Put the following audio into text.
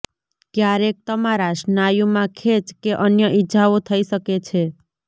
ક્યારેક તમારા સ્નાયુમાં ખેચ કે અન્ય ઈજાઓ થઈ શકે છે